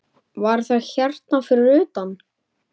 Var það hérna fyrir utan?